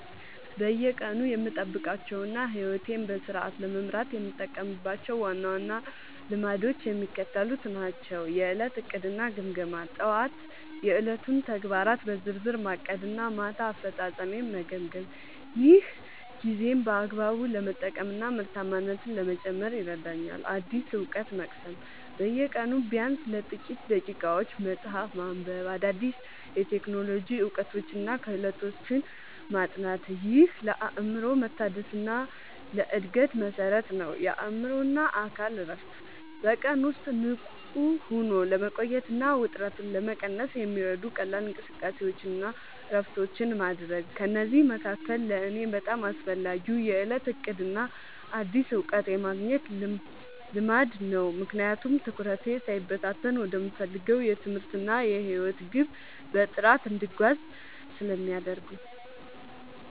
በየቀኑ የምጠብቃቸውና ሕይወቴን በስርዓት ለመምራት የምጠቀምባቸው ዋና ዋና ልማዶች የሚከተሉት ናቸው፦ የዕለት ዕቅድና ግምገማ፦ ጠዋት የዕለቱን ተግባራት በዝርዝር ማቀድና ማታ አፈጻጸሜን መገምገም። ይህ ጊዜን በአግባቡ ለመጠቀምና ምርታማነትን ለመጨመር ይረዳኛል። አዲስ እውቀት መቅሰም፦ በየቀኑ ቢያንስ ለጥቂት ደቂቃዎች መጽሐፍ ማንበብ፣ አዳዲስ የቴክኖሎጂ እውቀቶችንና ክህሎቶችን ማጥናት። ይህ ለአእምሮ መታደስና ለዕድገት መሠረት ነው። የአእምሮና አካል እረፍት፦ በቀን ውስጥ ንቁ ሆኖ ለመቆየትና ውጥረትን ለመቀነስ የሚረዱ ቀላል እንቅስቃሴዎችንና እረፍቶችን ማድረግ። ከእነዚህ መካከል ለእኔ በጣም አስፈላጊው የዕለት ዕቅድና አዲስ እውቀት የማግኘት ልማድ ነው፤ ምክንያቱም ትኩረቴ ሳይበታተን ወደምፈልገው የትምህርትና የሕይወት ግብ በጥራት እንድጓዝ ስለሚያደርጉኝ።